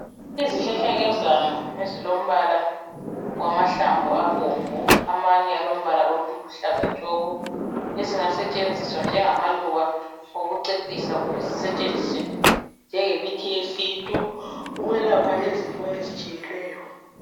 Izihlahlakazana ezilombala wamahlamvu abomvu amanye alombala oluhlaza tshoko ezingasetshenziswa njengamaluba okucecisa kumbe zisetshenziswe njengomuthi wesintu ukwelapha izifo ezitshiyeneyo.